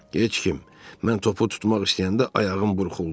Heç kim, mən topu tutmaq istəyəndə ayağım burxuldu.